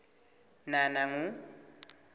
nanangu